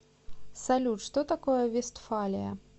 салют что такое вестфалия